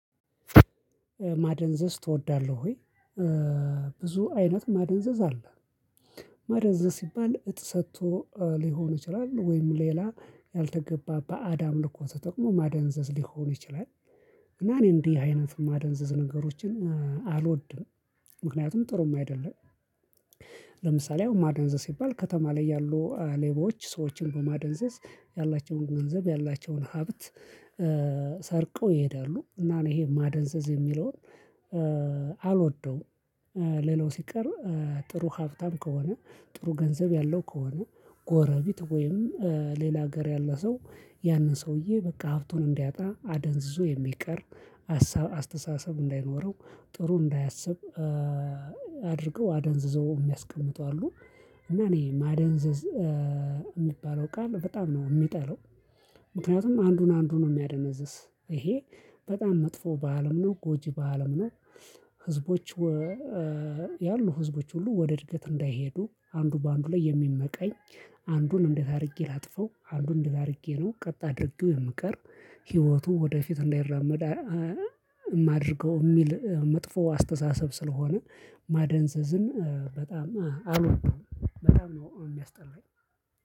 ማደንዘዝ ትወዳለህ ወይ? ብዙ አይነት ማደንዘዝ አለ ማደንዘዝ ሲባል እፅ ሰጥቶ ሊሆን ይችላል ወይም ሌላ ያልተገባ በአድ አምልኮ ተጠቅሞ ማደንዘዝ ሊሆን ይችላል። እና እኔ እንዲህ አይነት ማደንዘዝ ነገሮችን አልወድም። ምክንያቱም ጥሩም አይደለም። ለምሳሌ ማደንዘዝ ሲባል ከተማ ላይ ያሉ ሌቦች ሰዎችን በማደንዘ ያላቸውን ገንዘብ ያላቸውን ሀብት ሰርቀው ይሄዳሉ እና እኔ ይሄ ማደንዘዝ የሚለውን አልወደውም። ሌላው ሲቀርብ ጥሩ ሀብታም ከሆነ ጥሩ ገንዘብ ያለው ከሆነ ጎረቤት ወይም ሌላ ሀገር ያለ ሰው ያንን ሰውዬ በቃ ሀብቱን እንዲያጣ አደንዝዞ የሚቀር አሰራ አስተሳሰብ እንዳይኖረው ጥሩ እንዳያስብ አድርገው አደንዝዘው የሚያስቀምጡ አሉ እና እኔ ማደንዘዝ የሚባለው ቃል በጣም ነው የምጠላው። ምክንያቱም አንዱን አንዱን ነው የሚያደነዝዝ ይሄ በጣም መጥፎ በዓልም ነው ጎጂ በዓልም ነው። ህዝቦች ያሉ ህዝቦች ሁሉ ወደ እድገት እንዳይሄዱ አንዱ በአንዱ ላይ የሚመቀኝ አንዱን እንዴት አድርጌ ላጥፈው አንዱን እንዴት አድርጌ ነው ቀጣይ አድርጌው የምቀር ህይወቱ ወደፊት እንዳይራመድ። የማደርገው የሚል መጥፎ አስተሳሰብ ስለሆነ ማደንዘዝን በጣም አልወደም በጣም ነው የሚያስጠላኝ